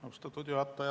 Austatud juhataja!